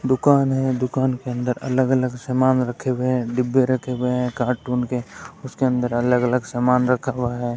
दुकान है दुकान के अंदर अलग अलग सामान रखे हुए है डिब्बे रखे गए है कार्टून के उसके अंदर अलग अलग सामान रखा हुआ है।